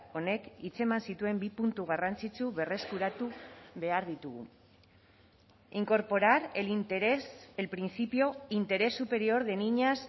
honek hitz eman zituen bi puntu garrantzitsu berreskuratu behar ditugu incorporar el interés el principio interés superior de niñas